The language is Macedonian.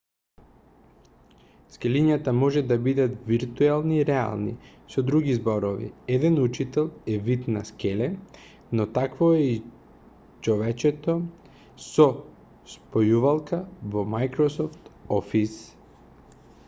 скелињата може да бидат виртуелни и реални со други зборови еден учител е вид на скеле но такво е и човечето со спојувалка во microsoft office